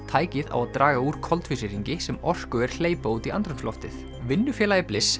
tækið á að draga úr koltvísýringi sem orkuver hleypa út í andrúmsloftið vinnufélagi